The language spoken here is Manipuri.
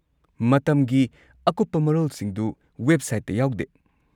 ꯃꯇꯝꯒꯤ ꯑꯀꯨꯞꯄ ꯃꯔꯣꯜꯁꯤꯡꯗꯨ ꯋꯦꯕꯁꯥꯏꯠꯇ ꯌꯥꯎꯗꯦ ꯫